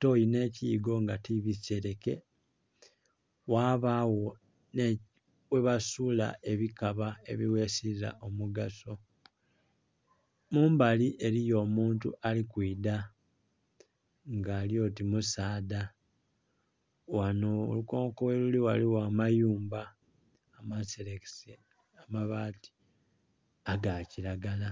Toyi nhe kiyigo nga ti bisereke ghabagho ghe basuula ebikaba ebi ghesiza omugaso. Mumbali eriyo omuntu ali kwidha nga ali oti musaadha, ghanho olukonko gheluli ghaligho amayumba amaserekese amabati ga kilagala.